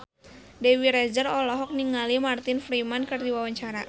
Dewi Rezer olohok ningali Martin Freeman keur diwawancara